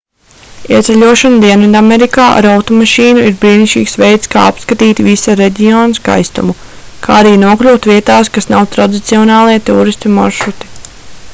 ieceļošana dienvidamerikā ar automašīnu ir brīnišķīgs veids kā apskatīt visa reģiona skaistumu kā arī nokļūt vietās kas nav tradicionālie tūristu maršruti